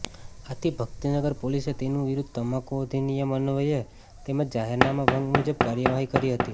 આથી ભક્તિનગર પોલીસે તેની વિરૂદ્ધ તમાકુ અધિનિયમ અન્વયે તેમજ જાહેરનામા ભંગ મુજબ કાર્યવાહી કરી હતી